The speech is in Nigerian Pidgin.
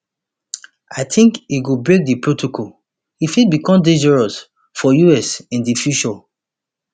i tink e go break di protocol e fit become dangerous for us in di future